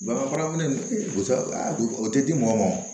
Bagan farafin o tɛ di mɔgɔ ma